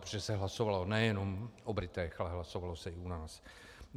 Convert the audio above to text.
Protože se hlasovalo nejenom o Britech, ale hlasovalo se i o nás.